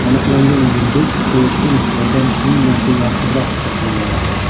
Aniqlangan yulduz Quyoshga nisbatan ming marta yorqinroq hisoblanadi.